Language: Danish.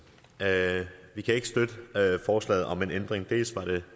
vi kan ikke støtte forslaget om en ændring dels var det